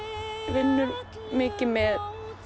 vinnur mikið með